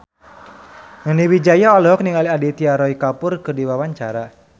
Nani Wijaya olohok ningali Aditya Roy Kapoor keur diwawancara